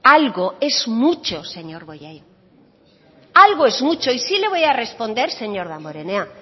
algo es mucho señor bollain algo es mucho y sí le voy a responder señor damborenea